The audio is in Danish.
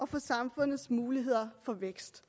for samfundets muligheder for vækst